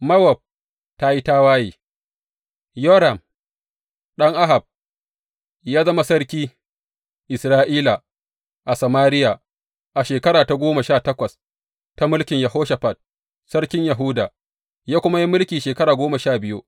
Mowab ta yi tawaye Yoram, ɗan Ahab ya zama sarki Isra’ila, a Samariya, a shekara ta goma sha takwas ta mulkin Yehoshafat, sarkin Yahuda, ya kuma yi mulki shekara goma sha biyu.